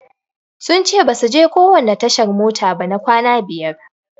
Sun ce basu je kowanne tashar mota ba na kwana biyar.